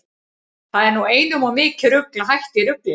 Það var nú einum of mikið rugl að hætta í ruglinu.